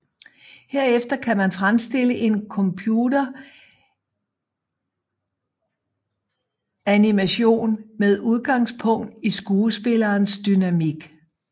Herefter kan man fremstille en computeranimation med udgangspunkt i skuespillerens dynamik